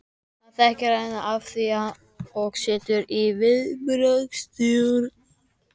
Hann þekkir hana að því og setur sig í viðbragðsstöðu.